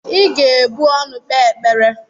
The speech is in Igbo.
Ị ga-ebu ọnụ kpee ekpere!